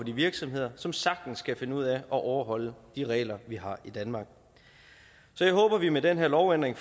virksomheder som sagtens kan finde ud af at overholde de regler vi har i danmark så jeg håber vi med den her lovændring